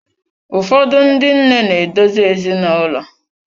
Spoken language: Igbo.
Ụfọdụ ndị nne na-edozi ezinaụlọ.